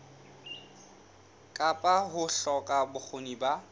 kapa ho hloka bokgoni ba